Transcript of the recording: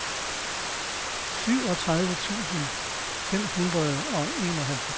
syvogtredive tusind fem hundrede og enoghalvtreds